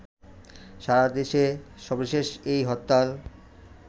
সারাদেশে সর্বশেষ এই হরতাল